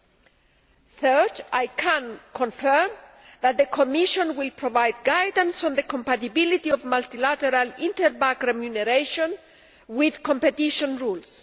Thirdly, I can confirm that the Commission will provide guidance on the compatibility of multilateral, interbank remuneration with competition rules.